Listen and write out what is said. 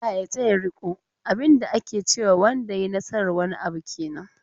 "ALLAH ya taya riko". abin da ke cewa wanda ya yi nasar wani abu kenan.